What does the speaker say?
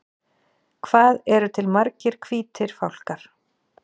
Hvað eru til margir hvítir fálkar?